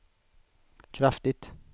kraftigt